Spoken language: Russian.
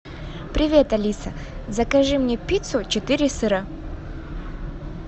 привет алиса закажи мне пиццу четыре сыра